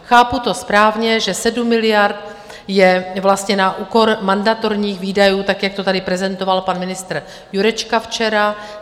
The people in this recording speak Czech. Chápu to správně, že 7 miliard je vlastně na úkor mandatorních výdajů tak, jak to tady prezentoval pan ministr Jurečka včera?